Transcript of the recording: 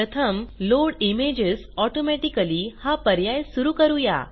प्रथम load images automatically हा पर्याय सुरू करूया